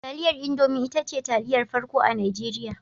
Taliyar Indomi ita ce taliyar farko a Najeriya.